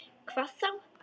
Hvað þá!